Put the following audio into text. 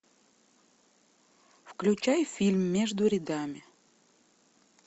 включай фильм между рядами